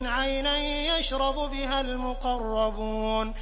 عَيْنًا يَشْرَبُ بِهَا الْمُقَرَّبُونَ